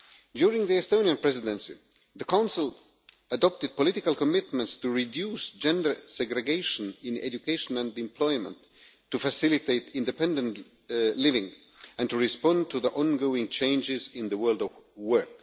During the Estonian Presidency, the Council adopted political commitments to reduce gender segregation in education and employment to facilitate independent living and to respond to the ongoing changes in the world of work.